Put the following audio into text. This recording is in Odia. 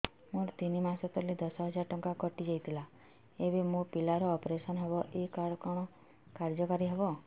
ମୋର ତିନି ମାସ ତଳେ ଦଶ ହଜାର ଟଙ୍କା କଟି ଯାଇଥିଲା ଏବେ ମୋ ପିଲା ର ଅପେରସନ ହବ ଏ କାର୍ଡ କଣ କାର୍ଯ୍ୟ କାରି ହବ